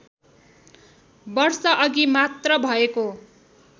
वर्षअघि मात्र भएको